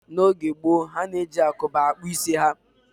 N'oge gboo, ha na-eji agụba akpụ isi ha